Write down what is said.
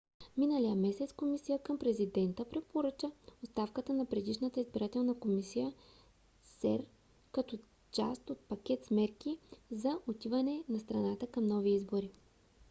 миналия месец комисия към президента препоръча оставката на предишната избирателна комисия cep като част от пакет с мерки за отиване на страната към нови избори